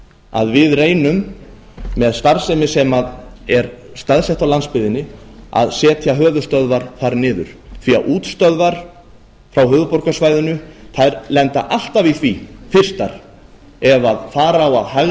að við reynum með starfsemi sem er staðsett á landsbyggðinni að setja höfuðstöðvar þar niður því að útstöðvar frá höfuðborgarsvæðinu lenda alltaf í því fyrstar ef fara á að